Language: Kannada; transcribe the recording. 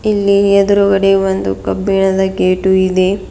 ಇಲ್ಲಿ ಎದ್ರುಗಡೆ ಒಂದು ಕಬ್ಬಿಣದ ಗೇಟು ಇದೆ.